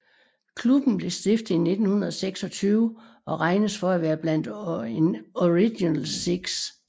Klubben blev stiftet i 1926 og regnes for at være blandt Original Six